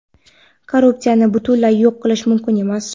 korrupsiyani butunlay yo‘q qilish mumkin emas.